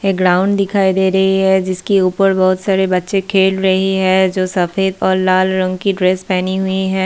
एक ग्राउंड दिखाई दे रही है जिसकी ऊपर बहुत सारे बच्चे खेल रहे हैं जो सफ़ेद और लाल रंग की ड्रेस पेहनी हुई है।